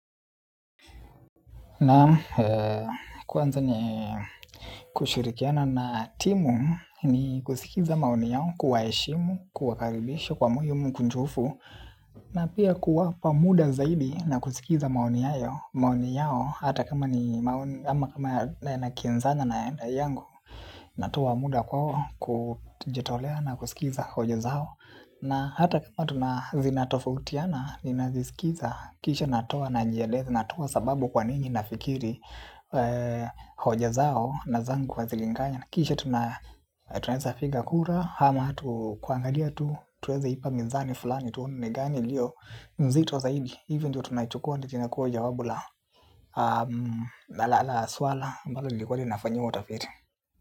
Na kwanza ni kushirikiana na timu ni kusikiza maoni yao, kuwaheshimu, kuwakaribisha kwa moyo mkunjufu. Na pia kuwapa muda zaidi na kusikiza maoni yao. Maoni yao hata kama ni maoni, ama kama na kinzana na enda yangu. Natowa muda kwao kujitolea na kusikiza hojola zao. Na hata kama tuna zinatofutiana, ninazisikiza, kisha natoa na najieleza natoa sababu kwa nini na fikiri hoja zao na zangu hazilingani. Kisha tunaweza piga kura ama tu kuangalia tu tuweze ipa mizani fulani tuone ni gani ilio nzito zaidi. Hivyo ndio tunaichukua ndio inakuwa jawabu la na lala swala ambalo lilikuwa nafanyiwa utafiti.